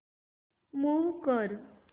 move कर